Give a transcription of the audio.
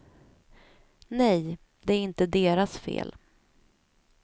Nej, det är inte deras fel.